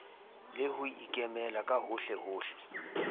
le ho ikemela ka hohlehohle